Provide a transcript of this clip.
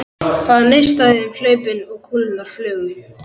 Það neistaði um hlaupin og kúlurnar flugu.